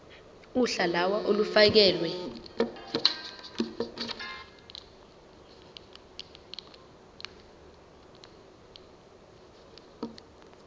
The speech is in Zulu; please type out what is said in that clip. uhla lawo olufakelwe